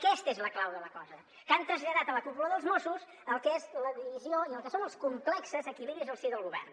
aquesta és la clau de la cosa que han traslladat a la cúpula dels mossos el que és la divisió i el que són els complexos equilibris al si del govern